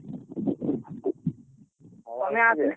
ହଉ ଆସିବି।